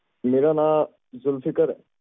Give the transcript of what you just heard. ਮੇਰਾ ਨਾ ਜ਼ੁਲਫ਼ੀਕ਼ਰ ਹੈ